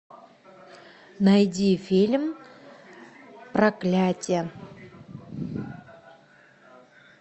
найди фильм проклятье